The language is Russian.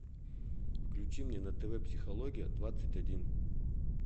включи мне на тв психология двадцать один